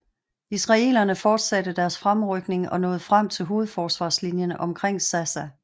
Israelerne fortsatte deres fremrykning og nåede frem til hovedforsvarslinjen omkring Sassa